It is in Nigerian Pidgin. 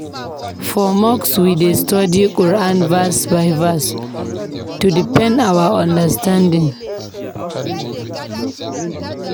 For mosque, we dey study Quran verse by verse to deepen our understanding.